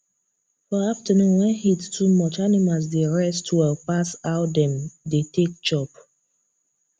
for afternoon wen heat too much animals dey rest well pas how dem dey take chop